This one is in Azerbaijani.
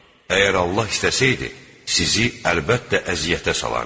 Əgər Allah istəsəydi, sizi əlbəttə əziyyətə salardı.